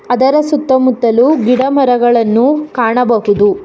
ಅದರ ಸುತ್ತ ಮುತ್ತಲು ಗಿಡ ಮರಗಳನ್ನು ಕಾಣಬಹುದು.